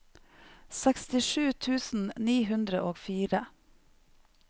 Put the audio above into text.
sekstisju tusen ni hundre og fire